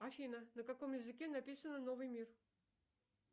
афина на каком языке написана новый мир